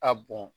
A bɔn